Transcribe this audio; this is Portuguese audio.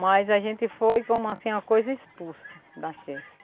Mas a gente foi, como assim, uma coisa expulsa da Xerce.